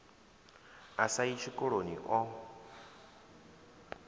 a sa yi tshikoloni o